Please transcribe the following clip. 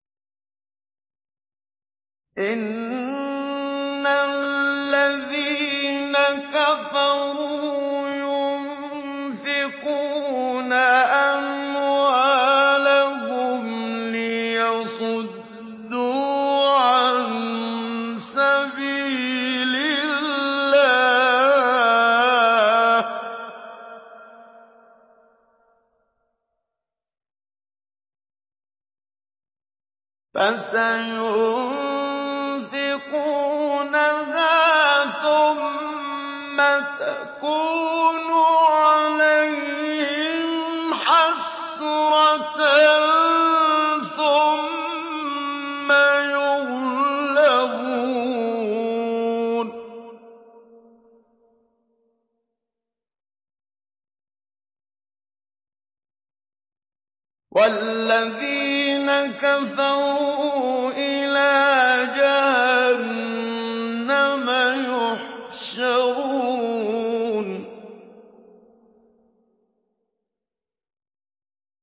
إِنَّ الَّذِينَ كَفَرُوا يُنفِقُونَ أَمْوَالَهُمْ لِيَصُدُّوا عَن سَبِيلِ اللَّهِ ۚ فَسَيُنفِقُونَهَا ثُمَّ تَكُونُ عَلَيْهِمْ حَسْرَةً ثُمَّ يُغْلَبُونَ ۗ وَالَّذِينَ كَفَرُوا إِلَىٰ جَهَنَّمَ يُحْشَرُونَ